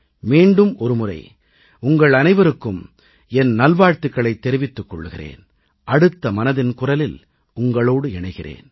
மீண்டும் ஒருமுறை உங்கள் அனைவருக்கும் என் நல்வாழ்த்துகளைத் தெரிவித்துக் கொள்கிறேன் அடுத்த மனதின் குரலில் உங்களோடு இணைகிறேன்